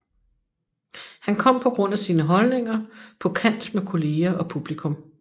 Han kom på grund af sine holdninger på kant med kolleger og publikum